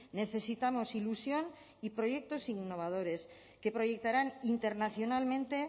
necesitamos ilusión y proyectos innovadores que proyectarán internacionalmente